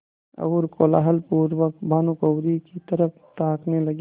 और कौतूहलपूर्वक भानुकुँवरि की तरफ ताकने लगे